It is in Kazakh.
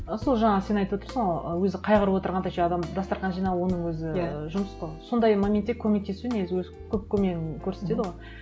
сол жаңағы сен айтып отырсың ғой ы өзі қайғырып отырғанда еще адам дастарқан жинау оның өзі жұмыс қой сондай моментте көмектесу негізі өзі көп көмегін көрсетеді ғой